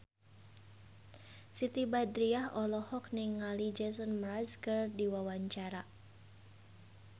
Siti Badriah olohok ningali Jason Mraz keur diwawancara